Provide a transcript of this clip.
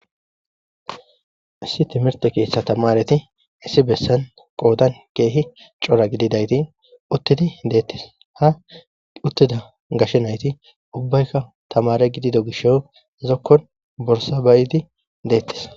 issi timirte keessa tamareti issi bessan qoodan keehi cora gididayti uttidi deettis ha uttida gashshe nayti ubbaykka tamare gidido gisho zokkon borsabaydi deettis